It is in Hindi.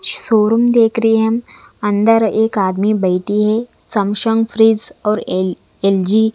शोरूम देख रहे है अंदर एक आदमी बैठे है समसंग फ्रिज और ए एल_जी --